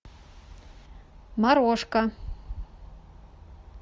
морошка